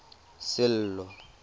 sello